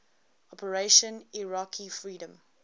operation iraqi freedom